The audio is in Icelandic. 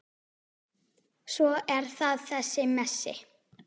Svo er það þessi Messi.